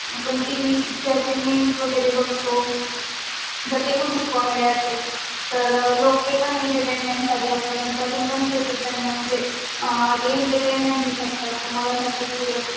पण TV picture, memes वगेरे बगतो. दर ते पण खूप कॉमेडी असतात. तर लोक पण एंटरटेनमेंट साटी बगतात आणि त्या तुम्ही पण त्यांना म्हंजे ते एंटरटेनमेंट होऊ शकतात. मला अस वाटतंय कि